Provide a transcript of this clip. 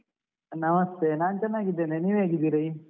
ನಮಸ್ತೆ, ನಾನು ಚೆನ್ನಾಗಿದ್ದೇನೆ, ನೀವು ಹೇಗಿದ್ದೀರಿ?